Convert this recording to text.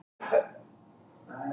Fara yfir stöðuna á sáttafundi